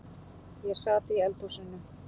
Ég sat í eldhúsinu.